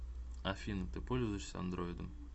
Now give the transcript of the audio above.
афина ты пользуешься андроидом